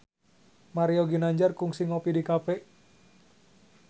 Mario Ginanjar kungsi ngopi di cafe